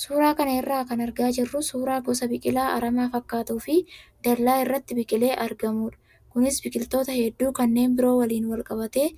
Suuraa kana irraa kan argaa jirru suuraa gosa biqilaa aramaa fakkaatuu fi dallaa irratti biqilee argamudha. Kunis biqiloota hedduu kanneen biroo waliin wal qabatee